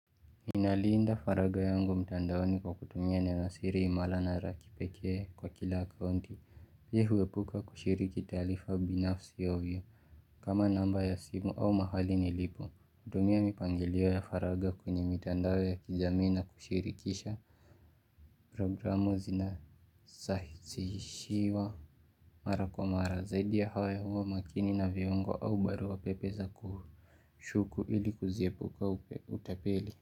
Ninaliinda faragha yangu mtandaoni kwa kutumia ninosiri imala na la kipeke kwa kila akonti Pii huepuka kushiriki talifa binafsi ya uyu kama namba ya simu au mahali nilipu kutumia mipangelio ya faraga kuni mtandao ya kijamii na kushirikisha Programu zinasahisiwa Mara kwa mara zaidi ya hawa ya uwa makini na viongo au barua pepe za kushuku ili kuzipuka utapeli.